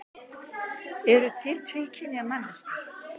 Eru til tvíkynja manneskjur?